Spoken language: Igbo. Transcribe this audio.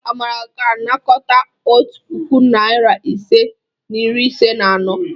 Amara ga-anakọta otu puku, narị ise na iri ise na anọ.